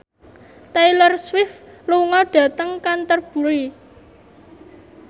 Taylor Swift lunga dhateng Canterbury